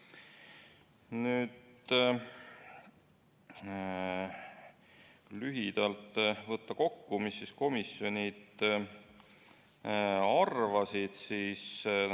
Võtan lühidalt kokku, mida komisjonid arvasid.